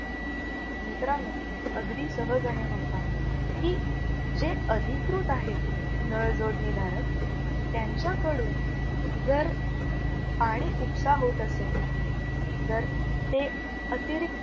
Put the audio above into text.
मित्रांनो अगदी सहज आहे नाही का? की, जे अधिकृत आहेत नळ जोडणी धारक त्यांच्याकडून जर, पाणी उपसा होत असेल. जर, ते अतिरिक्त